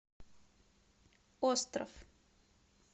остров